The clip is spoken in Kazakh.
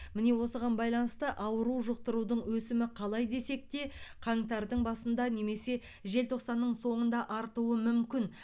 міне осыған байланысты ауру жұқтырудың өсімі қалай десек те қаңтардың басында немесе желтоқсанның соңында артуы мүмкін